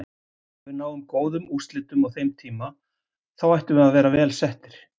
Ef við náum góðum úrslitum á þeim tíma þá ættum við að vera vel settir.